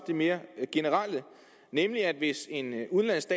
det mere generelle nemlig hvis en udenlandsk